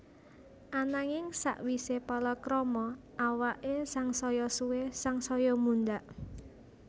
Ananging sawisé palakrama awaké sangsaya suwé sangsaya mundhak